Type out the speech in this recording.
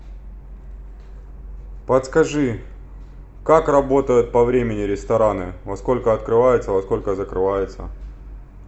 подскажи как работают по времени рестораны во сколько открываются во сколько закрываются